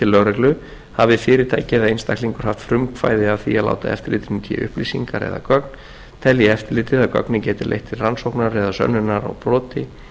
til lögregluhafi fyrirtæki eða einstaklingur haft frumkvæði að því að láta eftirlitinu í té upplýsingar eða gögn telji eftirlitið að gögnin geti leitt til rannsóknar eða sönnunar á broti